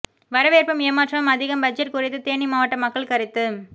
வரவேற்பும் ஏமாற்றமும் அதிகம் பட்ஜெட் குறித்து தேனி மாவட்ட மக்கள் கருத்து